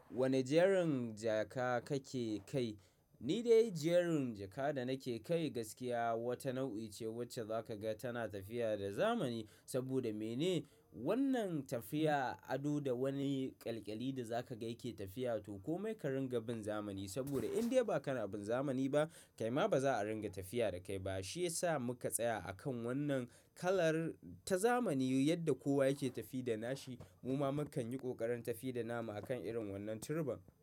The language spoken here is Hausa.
Wane jerin jaka kake kai? Ni dai jerin jaka da nake kai gaskiya wata nau'i ce wacce za ka ga tana tafiya da zamani. Saboda mene? Wannan tafiya ado da wani ƙalƙali da za ka ga yake tafiya to komai ka ringa bin zamani. Saboda in dai ba ka na bin zamani ba, kaima ba za a ringa tafiya da kai ba. Shi ya sa muka tsaya akan wannan kalar ta zamani yadda kowa yake tafi da nashi mu ma mu kan yi ƙoƙarin tafiya da nama akan irin wannan turban.